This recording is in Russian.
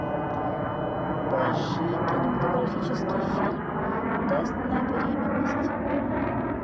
поищи кинематографический фильм тест на беременность